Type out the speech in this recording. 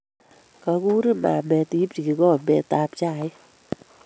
Kaguriin mamaet iipchi kikombet tab chaik